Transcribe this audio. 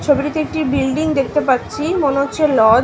ছবিটিতে একটি বিল্ডিং দেখতে পাচ্ছি মনে হচ্ছে লজ ।